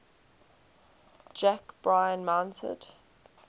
jack bryan mounted